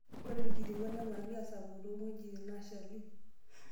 Ore irkitipot neponari asapuku toong'wejitin naashali.